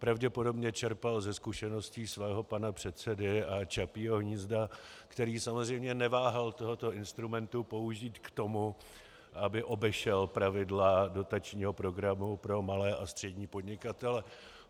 Pravděpodobně čerpal ze zkušeností svého pana předsedy a Čapího hnízda, který samozřejmě neváhal tohoto instrumentu použít k tomu, aby obešel pravidla dotačního programu pro malé a střední podnikatele.